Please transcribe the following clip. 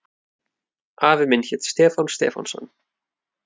Afi minn hét Stefán Stefánsson.